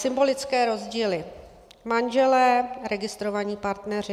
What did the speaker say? Symbolické rozdíly, manželé - registrovaní partneři.